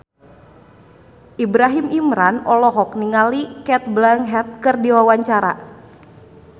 Ibrahim Imran olohok ningali Cate Blanchett keur diwawancara